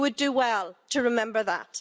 You would do well to remember that.